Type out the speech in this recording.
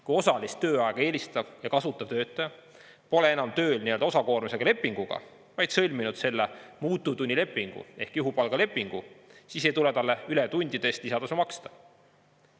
Kui osalist tööaega eelistav ja kasutav töötaja pole enam tööl osakoormusega lepinguga, vaid on sõlminud selle muutuvtunnilepingu ehk juhupalgalepingu, siis ei tule talle ületundide eest lisatasu maksta.